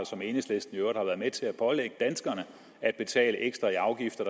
som enhedslisten i øvrigt har været med til at pålægge danskerne at betale ekstra i afgifter